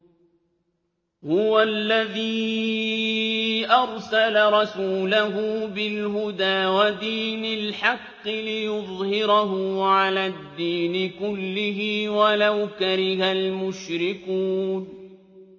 هُوَ الَّذِي أَرْسَلَ رَسُولَهُ بِالْهُدَىٰ وَدِينِ الْحَقِّ لِيُظْهِرَهُ عَلَى الدِّينِ كُلِّهِ وَلَوْ كَرِهَ الْمُشْرِكُونَ